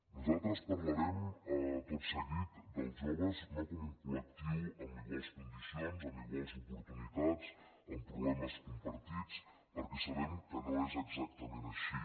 nosaltres parlarem tot seguit dels joves no com un collectiu amb iguals condicions amb iguals oportunitats amb problemes compartits perquè sabem que no és exactament així